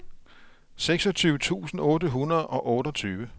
seksogtyve tusind otte hundrede og otteogtyve